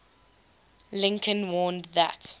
lincoln warned that